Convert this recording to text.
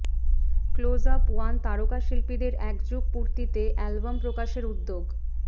Closeup one তারকা শিল্পীদের একযুগ পূর্তিতে অ্যালবাম প্রকাশের উদ্যোগ